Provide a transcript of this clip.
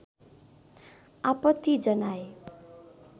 आपत्ति जनाए